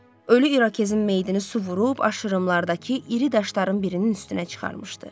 Ölü irokezin meyidini su vurub aşırımlardakı iri daşların birinin üstünə çıxarmışdı.